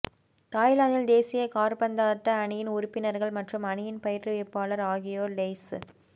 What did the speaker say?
தாய்லாந்தின் தேசிய காற்பந்தாட்ட அணியின் உறுப்பினர்கள் மற்றும் அணியின் பயிற்றுவிப்பாளர் ஆகியோர் லெய்ச